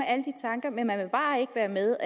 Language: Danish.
med